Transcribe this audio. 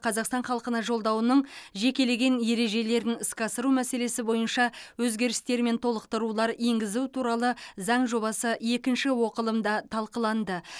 қазақстан халқына жолдауының жекелеген ережелерін іске асыру мәселесі бойынша өзгерістер мен толықтырулар енгізу туралы заң жобасы екінші оқылымда талқыланды